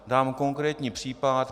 Dám konkrétní příklad.